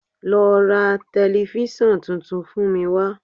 Lọ ra tẹlifísàn tuntun fún mi wá